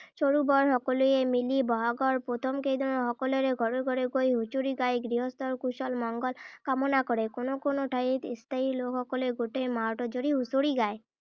সৰু বৰ সকলোৱে মিলি বহাগৰ প্ৰথম কেইদিনত সকলোৰে ঘৰে ঘৰে গৈ হুচৰি গাই গৃহস্থৰ কুশল মংগল কামনা কৰে। কোনো কোনো ঠাইত স্থায়ী লোকসকলে গোটেই মাহটো জুৰি হুঁচৰি গায়।